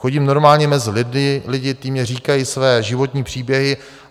Chodím normálně mezi lidi, ti mi říkají své životní příběhy.